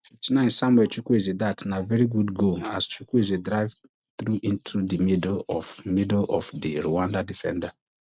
fifty-nine samuel chukwueze dat na veri good goal as chukwueze drive tru into di middle of middle of di rwanda defender